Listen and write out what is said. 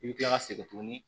I bɛ kila ka segin tuguni